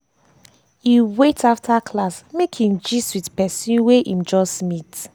e wait after class make im gist with person wey im just meet